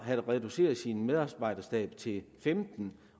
havde reduceret sin medarbejderstab til femten